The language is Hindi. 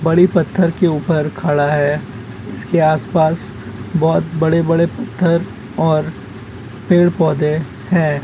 वड़ि पत्थर के उपर खाड़ा हे। इसके आस-पास बहुत बड़े-बड़े पत्थर और पेड़-पौधे है।